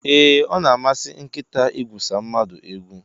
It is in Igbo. E, Ọ na amasi nkịta igwusa mmadụ egwu.